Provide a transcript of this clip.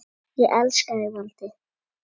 Ég elska þig, Valdi.